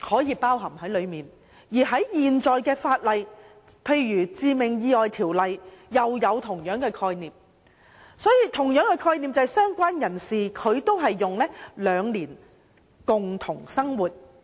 而在現行的法例內，如《致命意外條例》，亦有相同的概念，即"相關人士"定義為共同生活最少兩年。